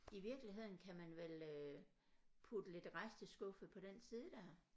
I virkeligheden kan man vel øh putte lidt resteskuffe på den side der